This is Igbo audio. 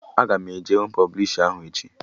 Aga m eje hụ pọblishi ahụ echi